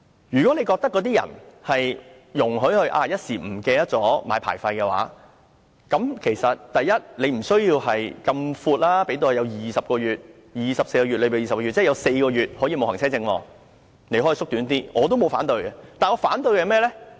如果容許車主一時忘記續領車牌，第一，無須要訂得那麼闊，容許24個月之中，有4個月可以沒有行車證，政府可以縮短一些，我亦不會反對的，但我反對些甚麼呢？